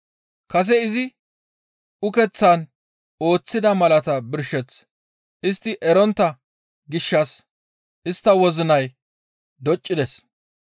Kase izi ukeththan ooththida malaata birsheth istti erontta gishshas istta wozinay doccides.